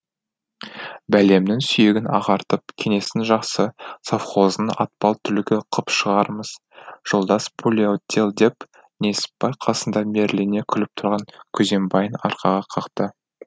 бәлемнің сүйегін ағартып кеңестің жақсы совхозының атпал түлігі қып шығарамыз жолдас полиотдел деп несіпбай қасында мейірлене күліп тұрған күзембайын арқаға қақты